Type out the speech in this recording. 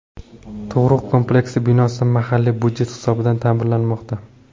Tug‘ruq kompleksi binosi mahalliy budjet hisobidan ta’mirlanmoqda.